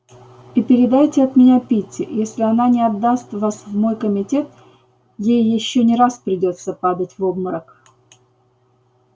и передайте от меня питти если она не отдаст вас в мой комитет ей ещё не раз придётся падать в обморок